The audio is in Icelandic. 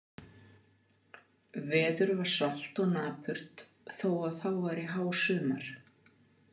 Veður var svalt og napurt þó að þá væri hásumar.